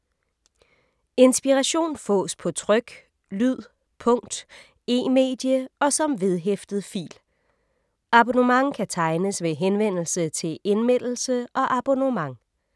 Inspiration fås på tryk, lyd, punkt, e-medie og som vedhæftet fil. Abonnement kan tegnes ved henvendelse til Indmeldelse og abonnement.